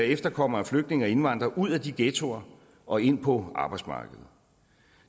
efterkommere af flygtninge og indvandrere ud af de ghettoer og ind på arbejdsmarkedet